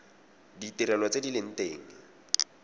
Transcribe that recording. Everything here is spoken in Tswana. ditirelo tse di leng teng